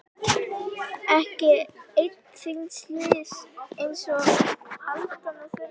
Ekki einn þíns liðs einsog aldan á þurru landi.